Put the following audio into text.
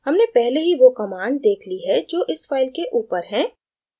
हमने पहले ही we commands देख we हैं जो इस file के ऊपर हैं